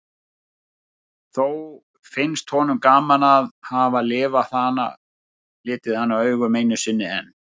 Þó finnst honum gaman að hafa litið hana augum einu sinni enn.